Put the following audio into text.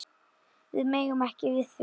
Við megum ekki við því.